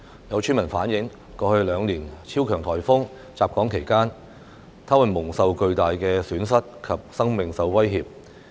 有村民反映，過去兩年超強颱風襲港期間，他們蒙受巨大損失及生命受威脅。